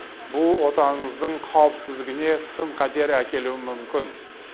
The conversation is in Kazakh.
бұл отанымыздың қауіпсіздігіне сын қатер әкелуі мүмкін